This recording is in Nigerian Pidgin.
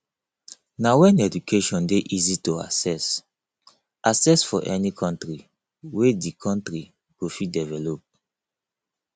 na when education dey easy to access access for any country wey de country go fit develop